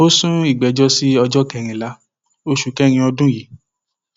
ó sún ìgbẹjọ sí ọjọ kẹrìnlá oṣù kẹrin ọdún yìí